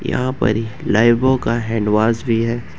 यहां पर ही लाईबो का हैंडवाश भी है।